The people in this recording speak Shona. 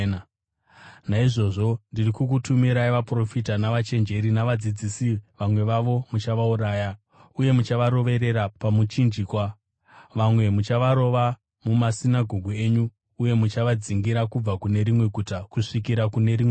Naizvozvo ndiri kukutumirai vaprofita navachenjeri navadzidzisi. Vamwe vavo muchavauraya uye muchavaroverera pamuchinjikwa; vamwe muchavarova mumasinagoge enyu uye muchavadzingirira kubva kune rimwe guta kusvikira kune rimwe guta.